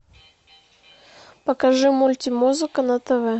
покажи мультимузыка на тв